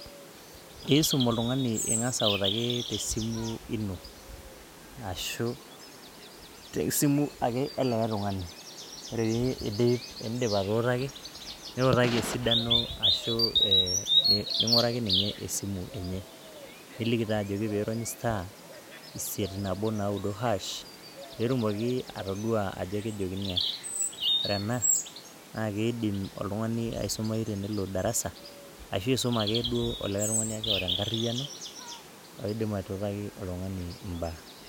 Isum oltung'ani ing'ira autaki te simu ino ashu e simu ake e likai tung'ani, ore piindip atuutaki nutaki esidano ning'uraki ninye esimu enye, niliki taa ajoki piirony star, isiet-nabo-naudo hash, pee etumoki atodua ajo kejokini aa. Ore ena naake idim oltung'ani aisumayu tenelo darasa ashu isum akeduo olikai tung'ani ake oata enkariano odim atuutaki oltung'ani mbaa.